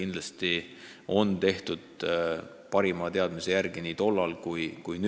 Kõik sai tehtud parima teadmise järgi, nii nagu tehakse praegugi.